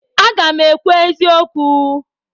Aga m ekwu eziokwu.